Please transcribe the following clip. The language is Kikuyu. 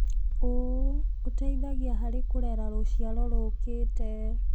ũũ ũteithagia harĩ kũrera rũciaro rũkĩte.